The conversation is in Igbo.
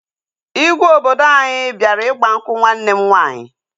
Igwe obodo anyị bịara ịgba nkwụ nwanne m nwaanyị